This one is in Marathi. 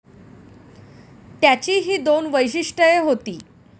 त्याची ही दोन वैशिष्टय़े होती.